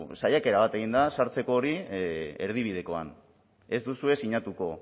saiakera bat egin da sartzeko hori erdibidekoan ez duzue sinatuko